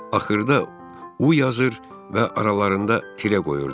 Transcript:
Axırda U yazır və aralarında tirə qoyurdu.